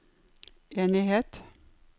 enighet